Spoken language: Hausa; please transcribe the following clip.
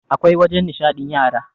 awkai wajen nishaɗin yara